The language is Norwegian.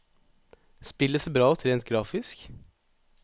Spillet ser bra ut rent grafisk.